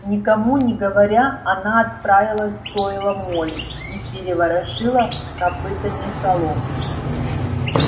никому не говоря она отправилась в стойло молли и переворошила копытами солому